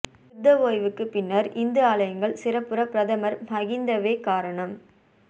யுத்த ஓய்வுக்கு பின்னர் இந்து ஆலயங்கள் சிறப்புற பிரதமர் மஹிந்தவே காரணம்